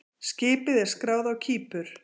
Skipið er skráð á Kípur.